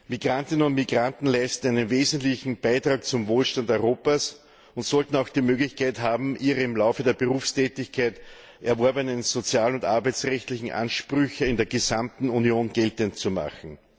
Migrantinnen und Migranten leisten einen wesentlichen Beitrag zum Wohlstand Europas und sollten auch die Möglichkeit haben, ihre im Laufe der Berufstätigkeit erworbenen sozial und arbeitsrechtlichen Ansprüche in der gesamten Union geltend zu machen.